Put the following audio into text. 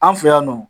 An fɛ yan nɔ